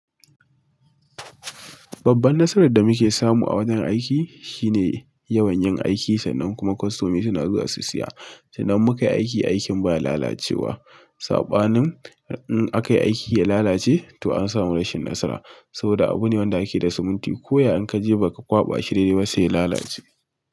Babban nasarar da muke samu a wajen aiki shine yawan yin aiki sannan kuma kostomomi suna zuwa su siya. Sannan in muka yi aikin, aikin ba lalacewa. Saɓanin in aka yi aiki ya lalace to an samu rashin nasara. Saboda abu ne wanda ake da siminti ko ya ya ka je ba ka kwaɓa shi dai-dai ba sai ya lalace.